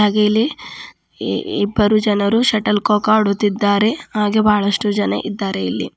ಹಾಗೆ ಇಲ್ಲಿ ಇಬ್ಬರು ಜನರು ಶಟಲ್ ಕೋಕ್ ಆಡುತ್ತಿದ್ದಾರೆ ಹಾಗೆ ಬಹಳಷ್ಟು ಜನ ಇದ್ದಾರೆ ಇಲ್ಲಿ.